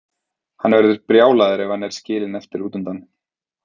Hann verður brjálaður ef hann er skilinn eftir útundan.